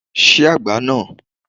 Ṣí agbá náà!